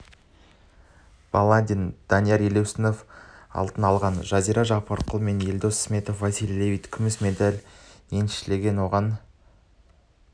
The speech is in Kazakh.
бүгінгюзель манюрова менәділбек ниязымбетовтің күміс медальдары қосылды галбадрах отгонцэцэг карина горичева фархад харки александр зайчиков